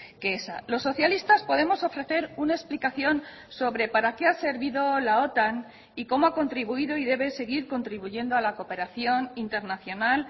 que esa los socialistas podemos ofrecer una explicación sobre para qué ha servido la otan y cómo ha contribuido y debe seguir contribuyendo a la cooperación internacional